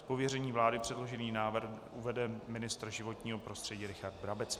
Z pověření vlády předložený návrh uvede ministr životního prostředí Richard Brabec.